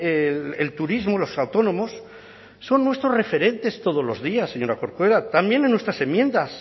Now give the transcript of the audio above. el turismo los autónomos son nuestros referentes todos los días señora corcuera también en nuestras enmiendas